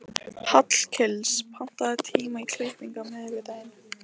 Hallgils, pantaðu tíma í klippingu á miðvikudaginn.